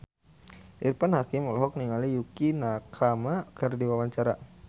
Irfan Hakim olohok ningali Yukie Nakama keur diwawancara